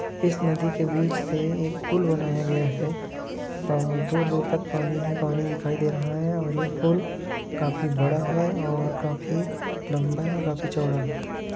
इस नदी के बीच से एक पुल बनाया गया है और दूर दूर तक पानी ही पानी दिखाई दे रहा है और ये पुल्ल काफी बड़ा है और काफी लम्बा है और काफी चौड़ा है ।